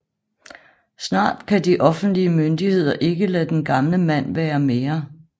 Snart kan de offentlige myndigheder ikke lade den gamle mand være mere